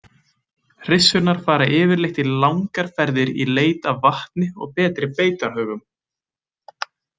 Hryssurnar fara yfirleitt í langar ferðir í leit af vatni og betri beitarhögum.